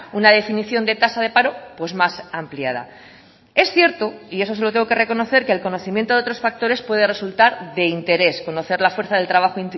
una definición de tasa de paro pues más ampliada es cierto y eso se lo tengo que reconocer que el conocimiento de otros factores puede resultar de interés conocer la fuerza del trabajo